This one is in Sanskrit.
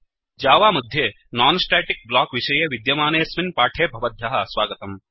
जावा मध्ये non स्टेटिक ब्लॉक विषये विद्यमानेऽस्मिन् पाठे भवद्भ्यः स्वागतम्